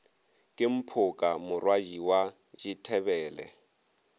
ke mphoka morwadi wa dithebele